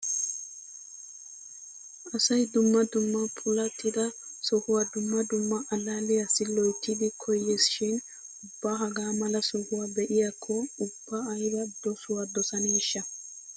Asay dumma dumma puulattida sohuwa dumma dumma allaalliyassi loyttidi koyees shin ubba hagaa mala sohuwa be'iyakko ubba ayba dosuwa dosaneeshsha!